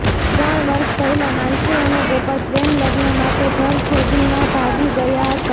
ત્રણ વર્ષ પહેલા માનસી અને ગોપાલ પ્રેમ લગ્ન માટે ઘર છોડીના ભાગી ગયા હતા